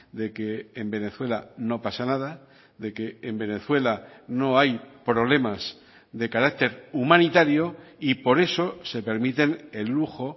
de que en venezuela no pasa nada de que en venezuela no hay problemas de carácter humanitario y por eso se permiten el lujo